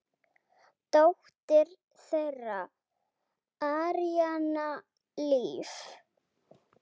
Dóttir þeirra: Aríanna Líf.